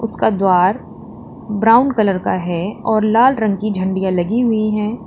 उसका द्वार brown colour का है और लाल रंग की झंडिया लगी हुई है।